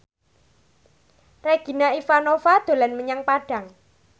Regina Ivanova dolan menyang Padang